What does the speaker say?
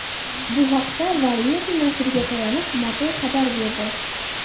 Bu haqda, Variety nashriga tayanib, Motor xabar berdi .